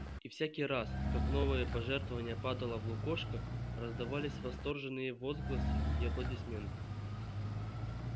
и всякий раз как новое пожертвование падало в лукошко раздавались восторженные возгласы и аплодисменты